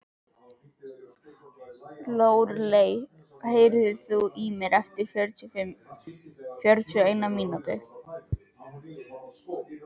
Lóreley, heyrðu í mér eftir fjörutíu og eina mínútur.